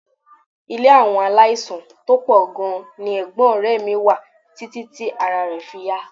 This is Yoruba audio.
Ilé àwọn aláìsàn tó pọ̀ gan-an ni ẹ̀gbọ́n ọ̀rẹ́ mi wà títí tí ará rẹ̀ fi yá